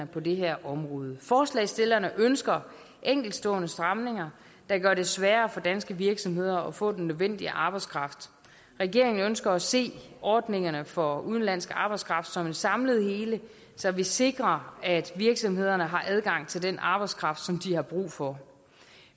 på det her område forslagsstillerne ønsker enkeltstående stramninger der gør det sværere for danske virksomheder at få den nødvendige arbejdskraft regeringen ønsker at se ordningerne for udenlandsk arbejdskraft som et samlet hele så vi sikrer at virksomhederne har adgang til den arbejdskraft som de har brug for